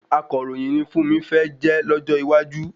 Akàròyìn ni Fúnmi fẹ́ jẹ́ lójó iwájú